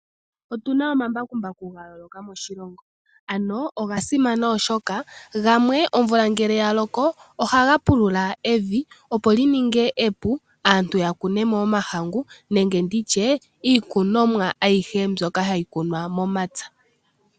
Otuna omambakumbaku gayooloka moshilongo nogasimana oshoka gamwe omvula ngele yaloko ohaga pulula evi opo lininge epu aantu yakunemo omahangu niikunomwa ayihe mbyoka hayi kunwa momapya.